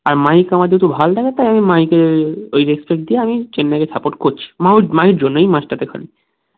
আর মাহির কোনো কিছু ভাললাগেতো ওই মাহিকে ওই respect দিয়ে মাই চেন্নাই কে support করছি মাহু মাহির জন্য এই match টা কে খালি